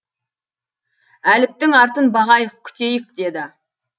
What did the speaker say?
әліптің артын бағайық күтейік деді